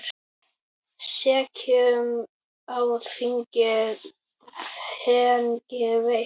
Sekum á þingi hegning veitt.